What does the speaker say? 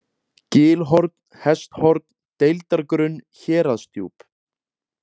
Gilhorn, Hesthorn, Deildargrunn, Héraðsdjúp